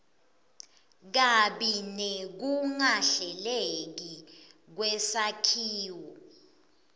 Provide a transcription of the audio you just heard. kabi nekungahleleki kwesakhiwo